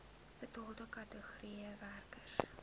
bepaalde kategorieë werkers